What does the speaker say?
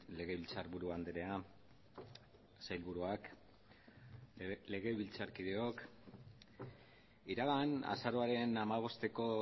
legebiltzarburu andrea sailburuak legebiltzarkideok iragan azaroaren hamabosteko